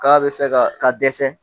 K'a bɛ fɛ ka ka dɛsɛ!